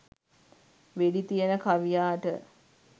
වෙඩි තියන කවියාට